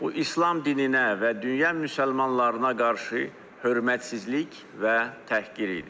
Bu İslam dininə və dünya müsəlmanlarına qarşı hörmətsizlik və təhqir idi.